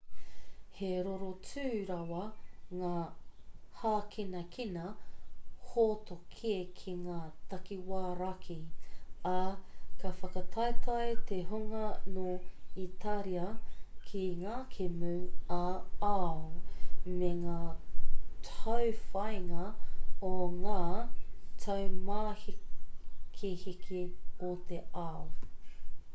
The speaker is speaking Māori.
he rorotu rawa ngā hākinakina hōtoke ki ngā takiwā raki ā ka whakataetae te hunga nō itāria ki ngā kēmu ā-ao me ngā tauwhāinga o ngā taumāhekeheke o te ao